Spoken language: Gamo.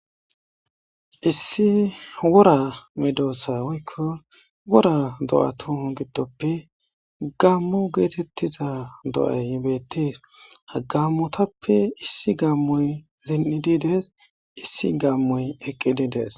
Issi wora medoossa woykko wora do'atu giddoppe gammu geetettiza do'ay hibettees hagammotappe issi gammoy zen'idides issi gammoy eqqididees.